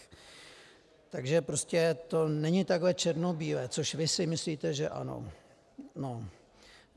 Takže prostě to není takhle černobílé, což vy si myslíte, že ano.